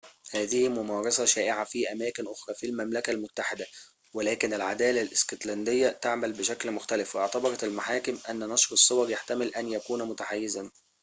هذه ممارسة شائعة في أماكن أخرى في المملكة المتحدة ولكن العدالة الاسكتلندية تعمل بشكل مختلف واعتبرت المحاكم أن نشر الصور يحتمل أن يكون متحيزاً